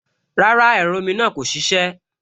Rárá, ẹ̀rọ omi náà kò ṣiṣẹ́